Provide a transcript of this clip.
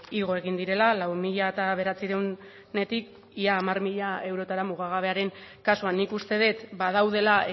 igo egin direla lau mila bederatziehunetik ia hamar mila eurotara mugagabearen kasuan nik uste dut badaudela